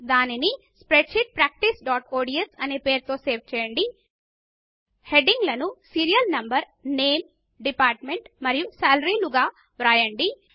దానిని spreadsheetpracticeఒడిఎస్ అనే మాపేరుతో సేవ్ చేయండి హెడింగ్ లను సీరియల్ నంబర్ నేమ్ డిపార్ట్మెంట్ మరియు సాలరీ లుగా వ్రాయండి